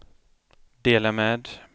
dela med